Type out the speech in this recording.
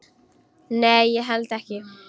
Nei, ég held ekki.